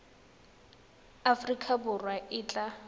ya aforika borwa e tla